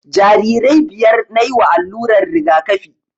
Jarirai biyar nayi wa allurar rigakafi